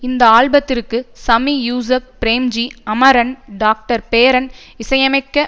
இந்த ஆல்பத்திற்கு சமி யூசுப் பிரேம்ஜி அமரன் டாக்டர்பேர்ன் இசையமைக்க